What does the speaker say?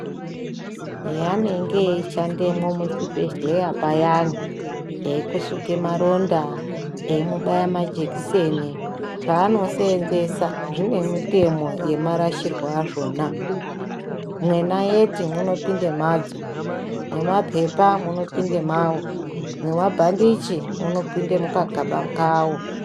Heanenge aisha ndevmwo muzvi bhedhleya payani eikusuke maronda, eimubaya majekiseni, zvaano seenzesa zvine mitemo yemarasirwe azvona, mwenayeti munopinde mwadzo, mwe mapepa munopinde mwawo, mwe mabhandichi muno pinde mukagaba kawo.